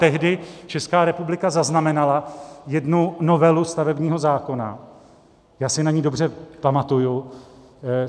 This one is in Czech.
Tehdy Česká republika zaznamenala jednu novelu stavebního zákona, já si na ni dobře pamatuji.